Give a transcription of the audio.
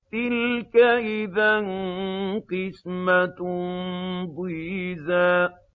تِلْكَ إِذًا قِسْمَةٌ ضِيزَىٰ